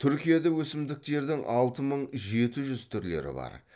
түркияда өсімдіктердің алты мың жеті жүз түрлері бар